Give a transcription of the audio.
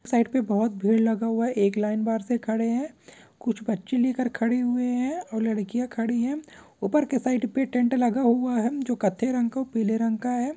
Side पे बहुत भीड़ लगा हुआ है एक लाइन बाहर से खड़े है कुछ बच्चे लेकर खड़े हुए हैं और लड़कियां खड़ी है ऊपर के साइड पे टेस्ट लगा हुआ हैजो कत्थे रंग का और पीले रंग का है।